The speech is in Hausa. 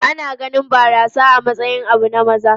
Ana ganin barasa a matsayin abu na maza.